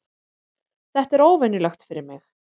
Þetta er óvenjulegt fyrir mig.